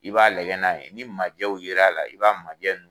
I b'a lajɛ n'a ye, ni majɛw yera a la i b'a majɛ nunnu